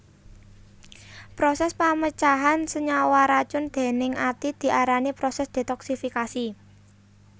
Prosès pamecahan senyawa racun déning ati diarani prosès detoksifikasi